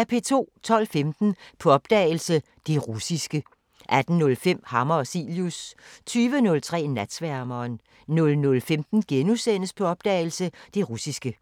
12:15: På opdagelse – Det russiske 18:05: Hammer og Cilius 23:03: Natsværmeren 00:15: På opdagelse – Det russiske *